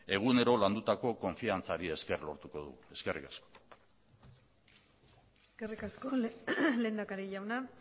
egunero landutako konfiantzari esker lortuko dugu eskerrik asko eskerrik asko lehendakari jauna